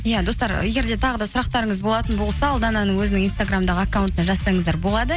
иә достар егер де тағы да сұрақтарыңыз болатын болса ұлдананың өзінің инстаграмдағы аккаунтына жазсаңыздар болады